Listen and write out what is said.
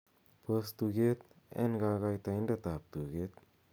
pos tuget en kogoitoindet ab tuget